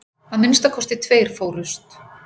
Að minnsta kosti tveir fórust.